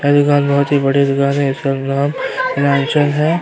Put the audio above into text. बहोत बड़ी दुकान है इसका नाम लालचंद है।